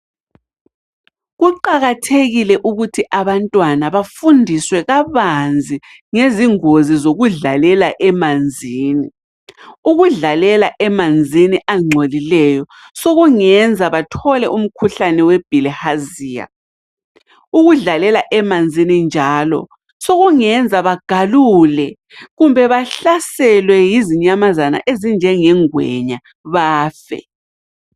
Kuqakathekile ukuthi abantwana bafundiswe kabanzi ngezingozi zokudlalela emanzini. Ukudlalela emanzini angcolileyo sokungenza bathole umkhuhlane webilharzia. Ukudlalela emanzini njalo sokungenza bagalule kumbe bahlaselwe yizinyamazana ezinjengengwenya bafe.